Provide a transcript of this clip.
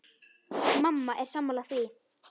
Mamma er sammála því.